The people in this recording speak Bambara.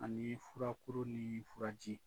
Ani furakuru ni furaji